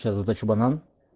сейчас заточу банан